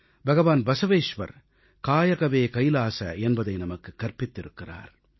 பகவான் பஸவேஸ்வர் காயகவே கைலாஸ என்பதை நமக்குக் கற்பித்திருக்கிறார்